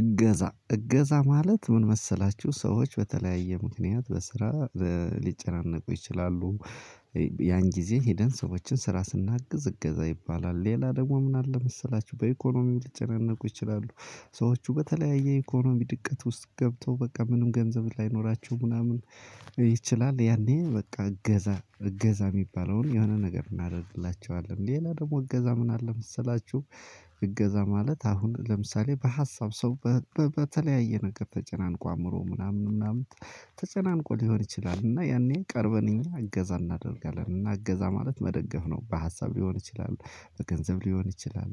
እገዛ እገዛ ማለት ምን መሰላችሁ ሰዎች በተለያየ ምክንያት በስራ ሊጨናነቁ ይችላሉ። ያን ጊዜ ሄደን ሰዎችን ስራ ስናግዝ እገዛ ይባላል ሌላ ደግሞ ምን አለ መሰላችሁ? በኢኮኖሚም ሊጨነቁ ይችላሉ። ሰዎች በተለያየ ኢኮኖሚ ድቀት ውስጥ ገብቶ በቃ ምንም ገንዘብ ላይኖራችሁ ምናምን ይችላል። ያኔ በቃ እገዛ እገዛ የሚባለውን የሆነ ነገር እናደርግላችኋለን። ሌላ ደግሞ እገዛ ምን አለ መሰላችሁ? እገዛ ማለት አሁን ለምሳሌ በሀሳብ ሰው። በተለያየ ነገር ተጨናንቆ አምሮ ምናምን ምናምን ተጨናንቆ ሊሆን ይችላል። እና ያኔ ቀርበን እኛ እገዛ እናደርጋለን እና እገዛ ማለት መደገፍ ነው። በሀሳብ ሊሆን ይችላል በገንዘብ ሊሆን ይችላል።